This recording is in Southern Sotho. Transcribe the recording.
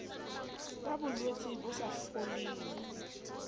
ka bolwetse bo sa foleng